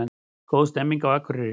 Góð stemning á Akureyri